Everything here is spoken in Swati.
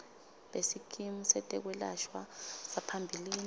besikimu setekwelashwa saphambilini